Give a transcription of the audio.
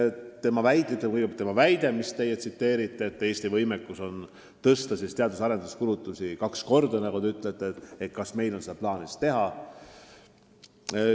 Te viitasite tema väitele, et Eesti suudaks teadus- ja arendustegevuse kulutusi kaks korda suurendada, ja küsisite, kas meil on seda plaanis teha.